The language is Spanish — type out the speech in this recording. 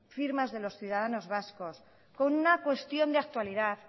firmas de los ciudadanos vascos con una cuestión de actualidad